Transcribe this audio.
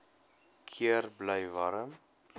keer bly warm